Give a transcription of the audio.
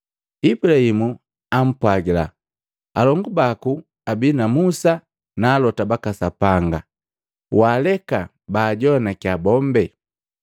Ibulahimu ampwagila, ‘Alongu baku abii na Musa na alota baka Sapanga, waaleka baajoanakiya bombe.’